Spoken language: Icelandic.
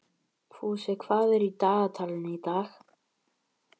Fúsi, hvað er í dagatalinu í dag?